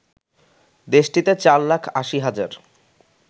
দেশটিতে চার লাখ ৮০ হাজার